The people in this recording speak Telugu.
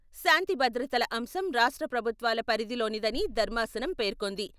శాంతి భద్రతల అంశం రాష్ట్ర ప్రభుత్వాల పరిధిలోనిదని ధర్మాసనం పేర్కొంది.